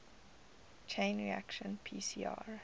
chain reaction pcr